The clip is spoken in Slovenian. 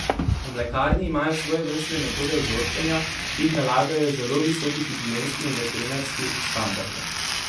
V mlekarni imajo svojevrstne metode vzorčenja, ki jih nalagajo zelo visoki higienski in veterinarski standardi.